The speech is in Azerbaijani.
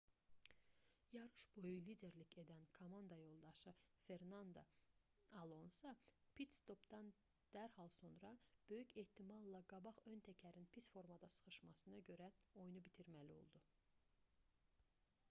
yarış boyu liderlik edən komanda yoldaşı fernando alonso pit-stopdan dərhal sonra böyük ehtimalla qabaq ön təkərin pis formada şıxışmasına görə oyunu bitirməli oldu